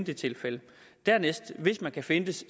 de tilfælde kan findes